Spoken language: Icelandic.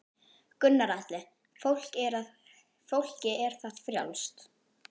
Gunnar Atli: Fólki er það frjálst?